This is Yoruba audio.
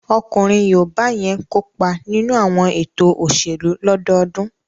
Ọkùnrin yoòbá yẹn kópa nínú àwọn ètò òṣèlú lọ́dọọdún